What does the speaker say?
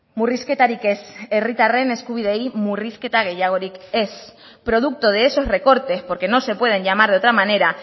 murrizketarik ez herritarren eskubideei murrizketa gehiagorik ez producto de esos recortes porque no se pueden llamar de otra manera